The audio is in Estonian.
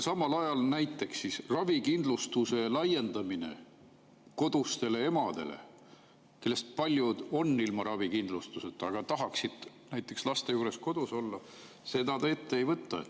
Samal ajal näiteks ravikindlustuse laiendamist kodustele emadele, kellest paljud on ilma ravikindlustuseta, aga tahaksid laste juures kodus olla, te ette ei võta.